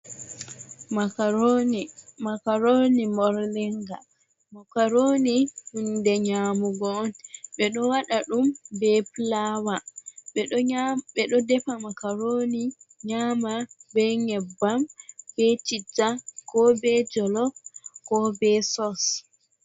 Makaroni, makaroni morlinga, makaroni hunde nyamugo on, ɓe ɗo waɗa ɗum be pulawa, ɓeɗo defa makaroni nyama, be nyebam, be ,chitta, ko be jolof ko be sos.